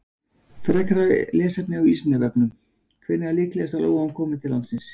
Frekara lesefni á Vísindavefnum: Hvenær er líklegast að lóan komi til landsins?